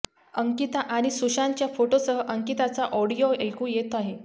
अंकिता आणि सुशांतच्या फोटोसह अंकिताचा ऑडिओ ऐकू येत आहे